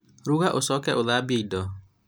ruga ũcoke ũthambie indo